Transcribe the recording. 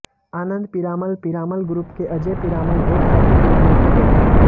आनंद Piramal Piramal group के अजय पीरामल और स्वाती पीरामल के बेटे हैं